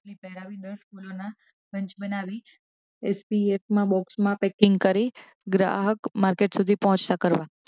કોથળી પહેરાવી દસ ફૂલોના બંચ બનાવી એસપીએફ માંબોક્સમાં પેકીંગ કરી ગ્રાહક માર્કેટ સુધી પહોંચતાં કરવા